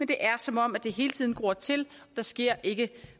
det er som om det hele tiden gror til der sker ikke